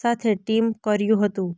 સાથે ટિમ કર્યું હતું